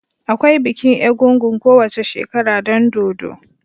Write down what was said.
Akwai bikin egúngún kowace shekara don dodo.